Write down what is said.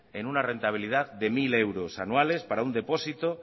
en una rentabilidad de mil euros anuales para un depósito